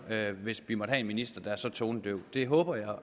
hvis vi måtte have en minister der er så tonedøv det håber